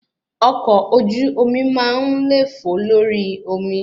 Ọkọ̀ ojú omi máa ń lefo lórí omi